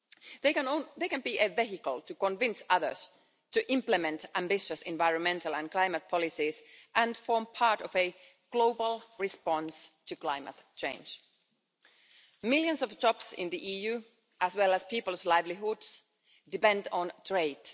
They can be a vehicle to convince others to implement ambitious environmental and climate policies and form part of a global response to climate change. Millions of jobs in the EU, as well as people's livelihoods, depend on trade.